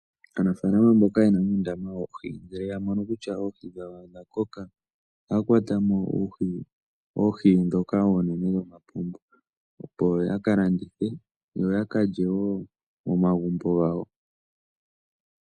Aanafaalama mboka ye na uundama woohi ngele ya mono kutya oohi dhawo odha koka, ohaya kwata mo oohi ndhoka oonene dhomapombo opo ya ka landithe, yo yaka lye wo momagumbo gawo.